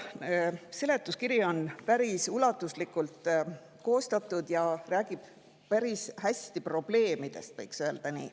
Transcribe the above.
Seletuskiri on päris ulatuslikult koostatud ja räägib päris hästi probleemidest, võiks öelda nii.